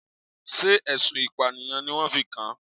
Sé ẹ̀sùn ìpànìyàn ni wọ́n fi kan?